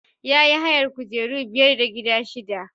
Ya yi hayar kujeru biyar da gidaje shida.